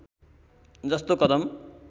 जस्तो कदम